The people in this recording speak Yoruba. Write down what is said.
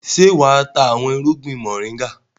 Ṣé wà á ta àwọn irúgbìn mọ̀ríngà?